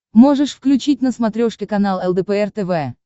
можешь включить на смотрешке канал лдпр тв